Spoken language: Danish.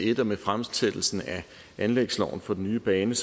et og med fremsættelsen af anlægsloven for den nye bane